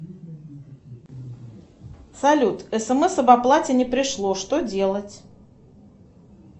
салют смс об оплате не пришло что делать